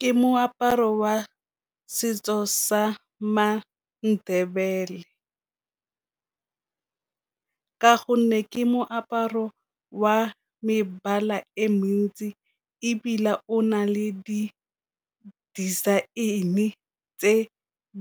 Ke moaparo wa setso sa ma-Ndebele, ka gonne ke moaparo wa mebala e mentsi ebile o na le di di-design-e tse